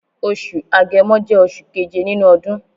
Osù Agẹmọ jẹ́ oṣù keje nínú ọdún.